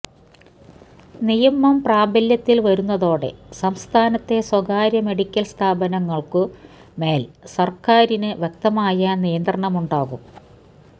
നിയമം പ്രാബല്യത്തില് വരുന്നതോടെ സംസ്ഥാനത്തെ സ്വകാര്യ മെഡിക്കല് സ്ഥാപനങ്ങള്ക്കു മേല് സര്ക്കാരിന് വ്യക്തമായ നിയന്ത്രണമുണ്ടാകും